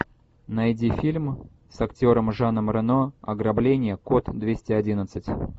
найди фильм с актером жаном рено ограбление код двести одиннадцать